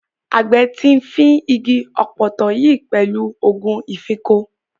Àgbẹ̀ ti fín igi ọ̀pọ̀tọ́ yìí pẹ̀lú ògùn ìfínko.